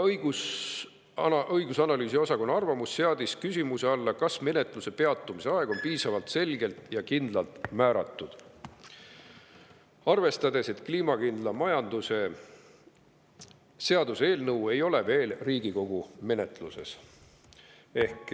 Arvamus seadis küsimuse alla, kas menetluse peatumise aeg on piisavalt selgelt ja kindlalt määratud, arvestades, et kliimakindla majanduse seaduse eelnõu ei ole veel Riigikogu menetlusse jõudnud.